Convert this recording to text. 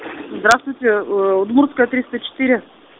здравствуйте удмуртская триста четыре